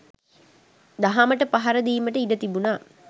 දහමට පහර දීමට ඉඩතිබුනා.